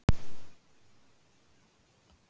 Sjöfn